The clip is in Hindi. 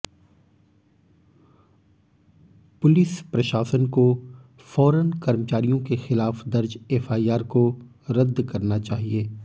पुलिस प्रशासन को फौरन कर्मचारियों के खिलाफ दर्ज एफआईआर को रद्द करना चाहिये